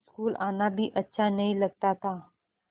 school आना भी अच्छा नहीं लगता था